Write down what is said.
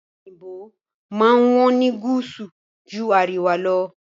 Ọ̀pe òyìnbó máa ń wọ́n ní gúúsù ju àríwá lọ.